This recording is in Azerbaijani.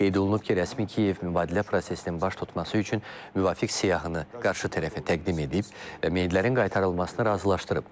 Qeyd olunub ki, rəsmi Kiyev mübadilə prosesinin baş tutması üçün müvafiq siyahını qarşı tərəfə təqdim edib və meyidlərin qaytarılmasını razılaşdırıb.